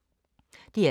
DR2